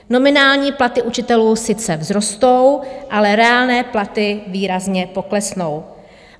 Nominální platy učitelů sice vzrostou, ale reálné platy výrazně poklesnou.